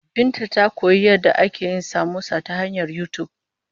Binta ta koyi yadda ake yin samosa ta hanyar YouTube.